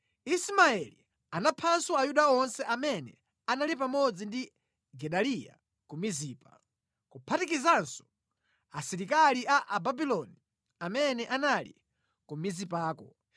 Ismaeli anaphanso Ayuda onse amene anali pamodzi ndi Gedaliya ku Mizipa, kuphatikizanso asilikali a Ababuloni amene anali ku Mizipako.